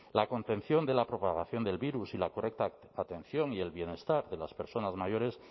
la contención de la propagación del virus y la correcta atención y el bienestar de las personas mayores